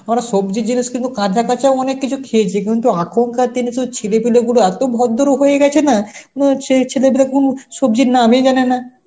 মানে সবজি জিনিস কিন্তু কাঁদা কাঁচা ও অনেক কিছু খেয়েছি কিন্তু এখনকার দিনে সেই ছেলেপিলে গুলো এত ভদ্র হয়ে গেছে না মানে সেই ছেলেপিলে কোন সবজির নামই জানে না.